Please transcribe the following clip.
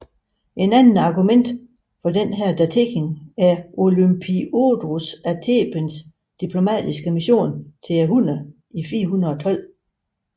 Et andet argument for denne datering er Olympiodorus af Thebens diplomatiske mission til hunnerne i 412